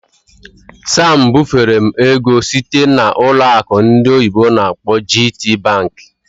Sam bufere m ego site na ụlọ akụ ndị oyibo n'akpọ "GTBank".